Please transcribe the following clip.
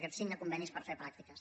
que signa convenis per fer pràctiques